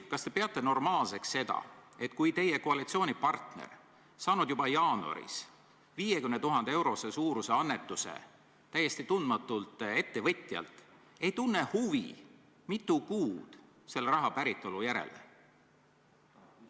Kas te peate normaalseks seda, et teie koalitsioonipartner, kes on saanud juba jaanuaris 50 000 euro suuruse annetuse täiesti tundmatult ettevõtjalt, ei tunne mitu kuud huvi selle raha päritolu vastu?